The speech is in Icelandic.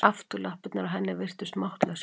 Afturlappirnar á henni virtust máttlausar.